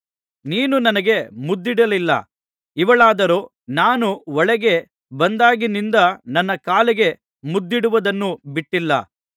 ನೀನು ನನಗೆ ಮುದ್ದಿಡಲಿಲ್ಲ ಇವಳಾದರೋ ನಾನು ಒಳಗೆ ಬಂದಾಗಿನಿಂದ ನನ್ನ ಕಾಲಿಗೆ ಮುದ್ದಿಡುವುದನ್ನು ಬಿಟ್ಟಿಲ್ಲ